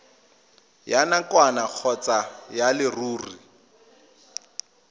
ya nakwana kgotsa ya leruri